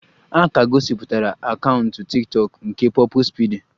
A ka gosipụtara akaụntụ tiktokụ nke Purple speedy